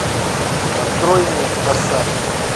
открой мне пассаж